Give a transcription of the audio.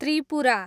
Tripura